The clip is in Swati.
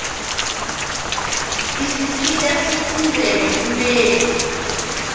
isisita sifundzele bumeli